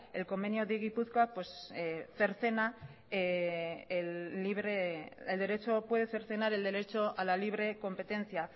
el convenio de gipuzkoa puede cercenar el derecho a la libre competencia